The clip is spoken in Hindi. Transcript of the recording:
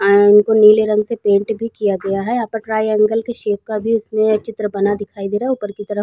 आयरन को नीले रंग से पेंट भी किया गया है। यहाँ पे ट्रायंगल की शैप का भी उसने चित्र बना दिखाई दे रहा हे ऊपर की तरफ --